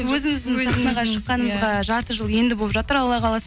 өзіміздің сахнаға шыққанымызға жарты жыл енді болып жатыр алла қаласа